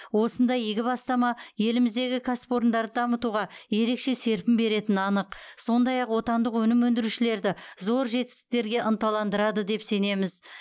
осындай игі бастама еліміздегі кәсіпорындарды дамытуға ерекше серпін беретіні анық сондай ақ отандық өнім өндірушілерді зор жетістіктерге ынтандандырады деп сенеміз